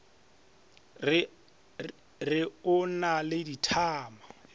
re o na le dithama